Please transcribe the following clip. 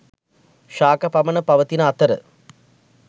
ශාක පමණ පවතින අතර